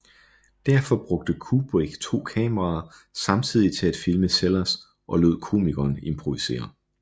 Derfor brugte Kubrick to kameraer samtidig til at filme Sellers og lod komikeren improvisere